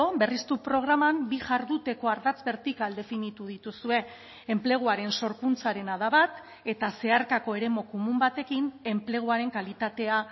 berriztu programan bi jarduteko ardatz bertikal definitu dituzue enpleguaren sorkuntzarena da bat eta zeharkako eremu komun batekin enpleguaren kalitatea